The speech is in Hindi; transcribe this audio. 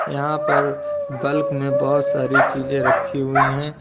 यहां पर बल्क में बहोत सारी चीजें रखी हुई है।